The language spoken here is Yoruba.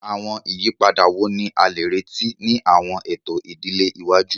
Awọn iyipada wo ni a le reti ni awọn eto idile iwaju?